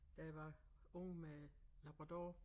Da jeg var ung med labrador